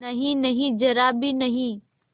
नहींनहीं जरा भी नहीं